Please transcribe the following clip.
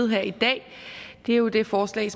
her i dag er jo det forslag